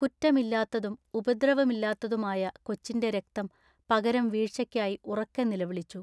കുറ്റമില്ലാത്തതും ഉപദ്രവമില്ലാത്തതുമായ കൊച്ചിന്റെ രക്തം പകരം വീഴ്ചയ്ക്കായി ഉറക്കെ നിലവിളിച്ചു.